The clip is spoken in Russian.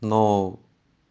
ну